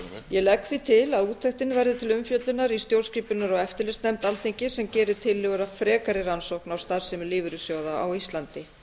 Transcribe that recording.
ég legg því til að úttektin verði til umfjöllunar í stjórnskipunar og eftirlitsnefnd alþingis sem geri tillögur að frekari rannsókn á starfsemi lífeyrissjóða á íslandi